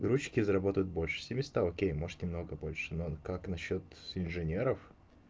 грузчики зарабатывают больше семиста окей может немного больше но как насчёт инженеров